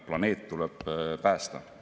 Planeet tuleb päästa.